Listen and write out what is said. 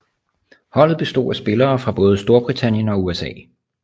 Holdet bestod af spillere fra både Storbritannien og USA